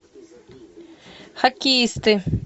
хоккеисты